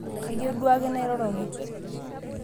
kaiyieu duo ake nairoroki